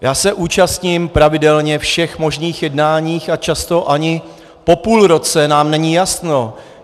Já se účastním pravidelně všech možných jednání a často ani po půl roce nám není jasno.